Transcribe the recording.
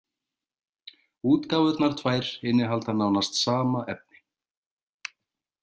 Útgáfurnar tvær innihalda nánast sama efni.